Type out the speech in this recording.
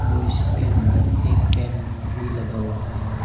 और इसके अंदर एक कैमरा भी लगा हुआ है।